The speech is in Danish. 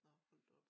Nå hold da op